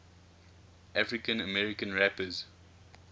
african american rappers